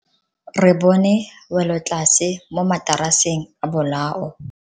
Re bone welotlase mo mataraseng a bolao.